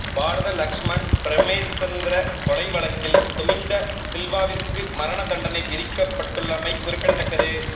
பாரத லக்ஸ்மன் பிரேமசந்திர கொலை வழக்கில் துமிந்த சில்வாவிற்கு மரண தண்டனை விதிக்கப்பட்டுள்ளமை குறிப்பிடத்தக்கது